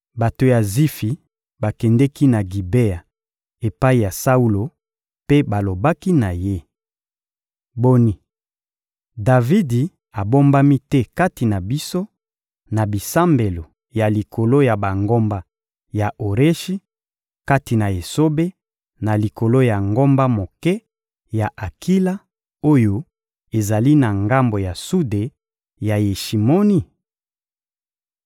Bato ya Zifi bakendeki na Gibea epai ya Saulo mpe balobaki na ye: — Boni, Davidi abombami te kati na biso, na bisambelo ya likolo ya bangomba ya Oreshi, kati na esobe, na likolo ya ngomba moke ya Akila oyo ezali na ngambo ya sude ya Yeshimoni?